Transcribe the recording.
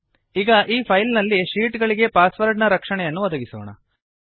ಈಗ ಈ ಫೈಲ್ ನಲ್ಲಿನ ಶೀಟ್ ಗಳಿಗೆ ಪಾಸ್ ವರ್ಡ್ ನ ರಕ್ಷಣೆಯನ್ನು ಒದಗಿಸೋಣ